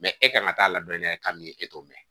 e kan ka taa ladɔnniya ka min e t'o mɛn